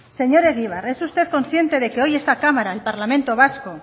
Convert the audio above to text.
señor egibar es usted consciente de que hoy esta cámara el parlamento vasco